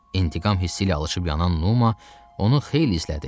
İntiqam hissi ilə alışib-yanan Numa onu xeyli izlədi.